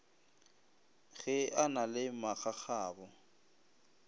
ge a na le magagabo